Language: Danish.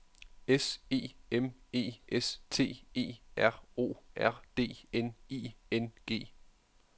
S E M E S T E R O R D N I N G